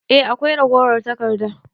Eh akwai ragowar taƙarda.